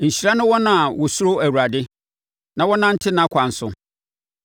Nhyira ne wɔn a wɔsuro Awurade, na wɔnante nʼakwan so.